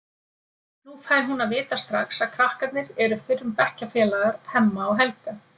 Nú fær hún að vita strax að krakkarnir eru fyrrum bekkjarfélagar Hemma og Helga.